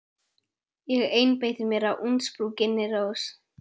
Ég einbeiti mér að útsprunginni rós.